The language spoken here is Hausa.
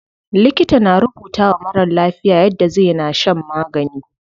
Likita na rubutawa marar lafiya yadda zai na shan magani.